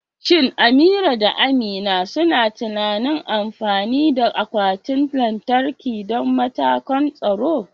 Shin Amira da Amina suna tunanin amfani da akwatin lantarki don matakan tsaro?